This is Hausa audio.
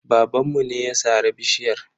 Babanmu ne ya sare bishiyar.